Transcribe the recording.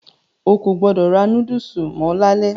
O kò gbọdọ̀ ra núdùsù mọ́ lalẹ́.